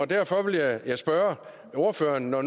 derfor vil jeg jeg spørge ordføreren når